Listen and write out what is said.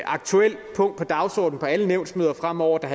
aktuelt punkt på dagsordenen på alle nævnsmøder fremover der